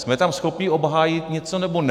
Jsme tam schopní obhájit něco, nebo ne?